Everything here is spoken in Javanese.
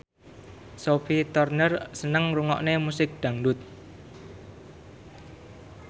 Sophie Turner seneng ngrungokne musik dangdut